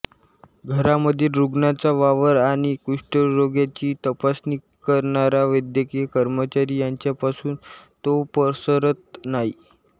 घरामधील रुग्णाचा वावर आणि कुष्ठरोग्याची तपासणी करणारा वैद्यकीय कर्मचारी यांच्यापासून तो पसरत नाही